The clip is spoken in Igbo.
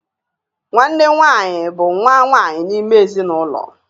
Nwanne nwaanyị bụ nwa nwaanyị n'ime ezinụlọ.